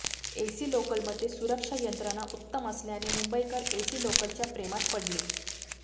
AC लोकलमध्ये सुरक्षा यंत्रणा उत्तम असल्याने मुंबईकर एसी लोकलच्या प्रेमात पडले